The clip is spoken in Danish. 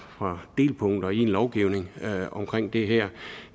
for delpunkter i en lovgivning omkring det her